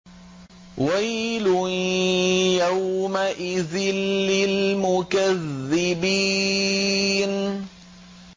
وَيْلٌ يَوْمَئِذٍ لِّلْمُكَذِّبِينَ